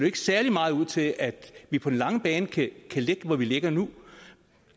ikke særlig meget ud til at vi på den lange bane kan ligge hvor vi ligger nu